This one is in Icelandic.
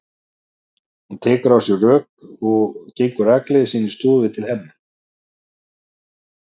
Hún tekur á sig rögg og gengur rakleiðis inn í stofu til Hemma.